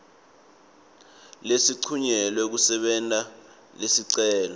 lesincunyelwe kusebenta lesicelo